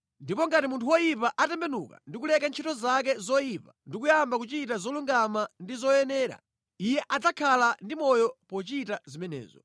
Ndipo ngati munthu woyipa atembenuka ndi kuleka ntchito zake zoyipa ndi kuyamba kuchita zolungama ndi zoyenera, iye adzakhala ndi moyo pochita zimenezo.